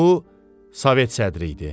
Bu Sovet sədri idi.